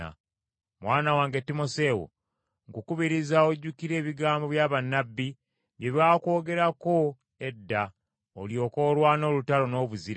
Mwana wange Timoseewo, nkukubiriza ojjukire ebigambo bya bannabbi bye baakwogerako edda, olyoke olwane olutalo n’obuzira,